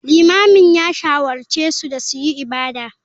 Limamin ya shawarce su da su yi ibada.